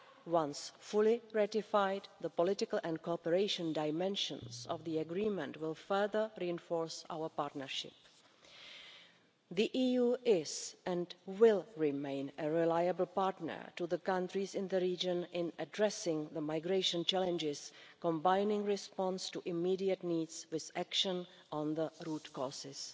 Once fully ratified, the political and cooperation dimensions of the Agreement will further reinforce our partnership. The EU is and will remain a reliable partner to the countries in the region in addressing the migration challenges, combining response to immediate needs with action on the root causes.